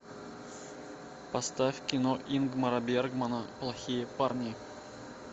поставь кино ингмара бергмана плохие парни